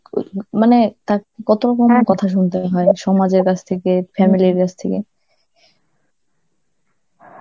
ক~ মানে তাকে কত রকম ভাবে কথা শুনতে হয়, সমাজের কাছ থেকে, family র কাছ থেকে.